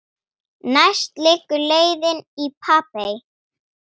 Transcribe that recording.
Næst liggur leiðin í Papey.